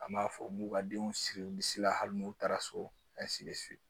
An b'a fɔ m'u ka denw siri bi la hali n'u taara so